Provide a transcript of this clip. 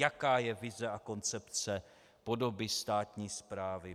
Jaká je vize a koncepce podoby státní správy?